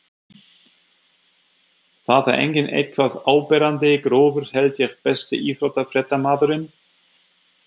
það er engin eitthvað áberandi grófur held ég Besti íþróttafréttamaðurinn?